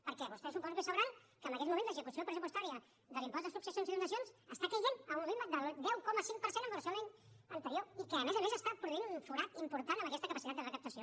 perquè vostès suposo que deuen saber que en aquests moments l’execució pressupostària de l’impost de successions i donacions cau a un ritme del deu coma cinc per cent amb relació a l’any anterior i que a més a més produeix un forat important en aquesta capacitat de recaptació